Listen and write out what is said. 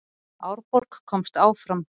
Árborg komst áfram